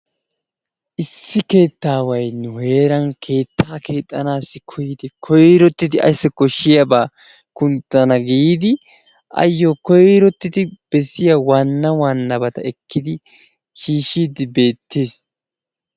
Issi keettaway nu heeran keettaa keexxanasii koyyidi koyrottidi assi koshshiyaaba kunttana giidi ayyo koyrottidi bessiya waanna waannabata ekkidi shiishshidde beettees.